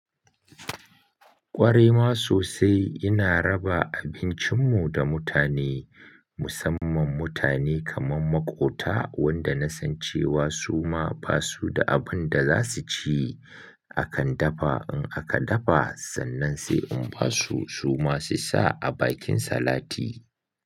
Ƙware ma sosai ina raba abincin mu da mutane musamman mutane kaman maƙota wanda na san cewa su ma basu da abunda za su ci. Akan dafa in aka dafa sannan sai in basu su ma su sa a bakin salati.